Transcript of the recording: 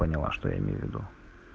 поняла что я имею в виду